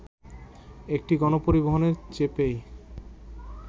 একটি গণপরিবহনে চেপেই